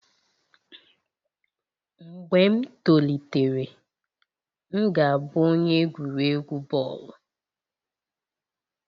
Mgbe m tolitere, m ga-abụ onye egwuregwu bọọlụ